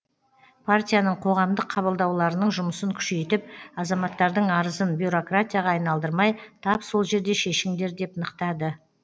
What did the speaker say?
партияның қоғамдық қабылдауларының жұмысын күшейтіп азаматтардың арызын бюрократияға айналдырмай тап сол жерде шешіңдер деп нықтады